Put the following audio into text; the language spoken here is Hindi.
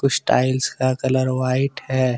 इस टाइल्स का कलर व्हाइट है।